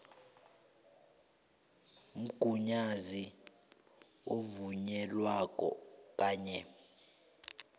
mgunyazi ovunyelweko kanye